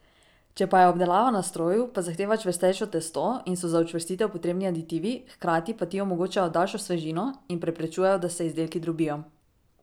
Če pa je obdelava na stroju, pa zahteva čvrstejše testo in so za učvrstitev potrebni aditivi, hkrati pa ti omogočajo daljšo svežino in preprečujejo, da se izdelki drobijo.